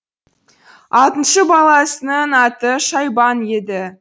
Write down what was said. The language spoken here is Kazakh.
алтыншы баласының аты шайбан еді